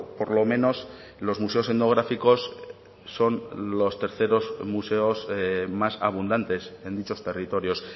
por lo menos los museos etnográficos son los terceros museos más abundantes en dichos territorios